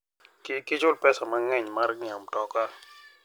Kik ichul pesa mang'eny mar ng'iewo mtoka.